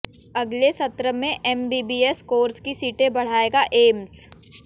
अगले सत्र से एमबीबीएस कोर्स की सीटें बढ़ाएगा एम्स